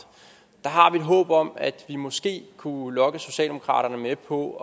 et håb om at vi måske kunne lokke socialdemokratiet med på